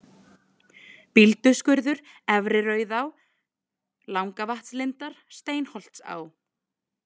Bílduskurður, Efri-Rauðá, Langavatnslindar, Steinsholtsá